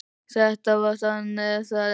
Þetta var þannig, er það ekki?